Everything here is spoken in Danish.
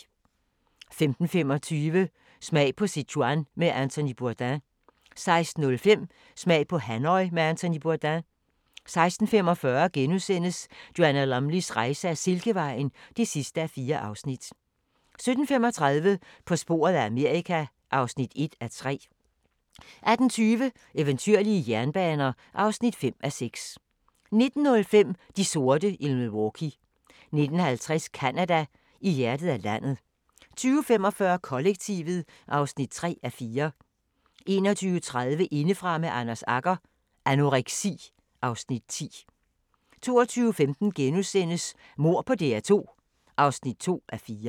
15:25: Smag på Sichuan med Anthony Bourdain 16:05: Smag på Hanoi med Anthony Bourdain 16:45: Joanna Lumleys rejse ad Silkevejen (4:4)* 17:35: På sporet af Amerika (1:3) 18:20: Eventyrlige jernbaner (5:6) 19:05: De sorte i Milwaukee 19:50: Canada: I hjertet af landet 20:45: Kollektivet (3:4) 21:30: Indefra med Anders Agger – Anoreksi (Afs. 10) 22:15: Mord på DR2 (2:4)*